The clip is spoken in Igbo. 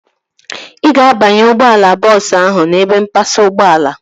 Ị ga-abanye ụgbọala bọọsu ahu n'ebe mpasa ụgbọala